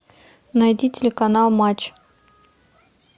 найди телеканал матч